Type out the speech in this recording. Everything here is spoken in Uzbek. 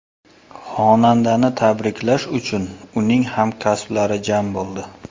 Xonandani tabriklash uchun uning hamkasblari jam bo‘ldi.